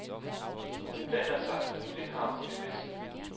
Hun blander sig, for det har hun det bedst med.